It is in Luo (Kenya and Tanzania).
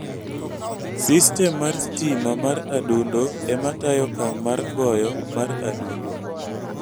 Sistem mar stima mar adundo ema tayo okang' mar goyo mar adundo.